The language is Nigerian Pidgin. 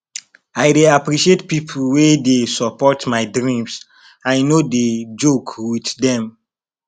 i dey appreciate pipo wey dey support my dreams i no dey joke wit dem